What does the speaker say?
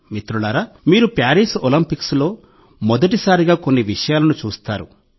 మిత్రులారా మీరు ప్యారిస్ ఒలింపిక్స్లో మొదటిసారిగా కొన్ని విషయాలను చూస్తారు